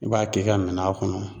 I b'a k'i ka minan kɔnɔ.